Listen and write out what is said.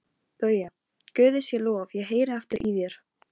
Ég er sammála þér í því.